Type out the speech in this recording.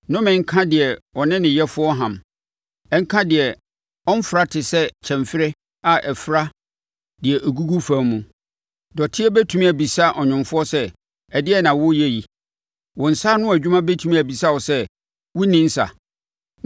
“Nnome nka deɛ ɔne ne Yɛfoɔ ham Ɛnka deɛ ɔmfra te sɛ kyɛmferɛ a ɛfra deɛ ɛgugu fam mu. Dɔteɛ bɛtumi abisa ɔnwomfoɔ sɛ, ‘ɛdeɛn na woreyɛ yi?’ Wo nsa ano adwuma bɛtumi abisa wo sɛ, ‘Wonni nsa’?